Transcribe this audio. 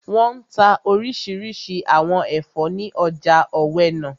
Wọ́n n ta orísirísi àwọn ẹ̀fọ́ ní ọjà ọ̀wẹnà